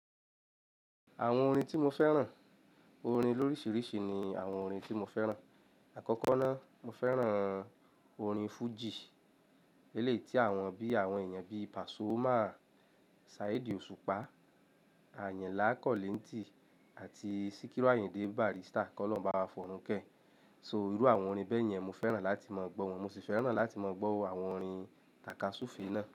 Àwọn orin tí mo fẹ́ràn, orin lóríṣiríṣi ni àwọn orin tí mo fẹ́ràn. Àkọ́kọ́ ná, mo fẹ́ràn orin fújì, eléyí tí àwọn bí àwọn èèyàn bí Pasuma, Saheed Osupa, Ayinla Akọléńtì àti Sikiru Ayinde Barrister kọ́ lọ́hun ba wa fọrunke. So irú àwọn orin bẹ́ẹ̀ yẹn mo fẹ́ràn láti máa gbọ́ wọn. Mo sì fẹ́ràn láti máa gbọ́ àwọn orin takasufe náà.